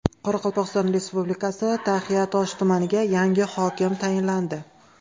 Qoraqalpog‘iston Respublikasi Taxiatosh tumaniga yangi hokim tayinlandi.